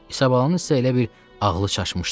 İsabalanın isə elə bil ağlı çaşmışdı.